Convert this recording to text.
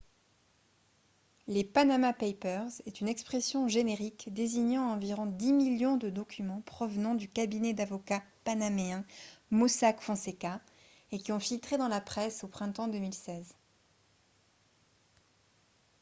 les « panama papers » est une expression générique désignant environ dix millions de documents provenant du cabinet d'avocats panaméen mossack fonseca et qui ont filtré dans la presse au printemps 2016